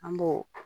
An b'o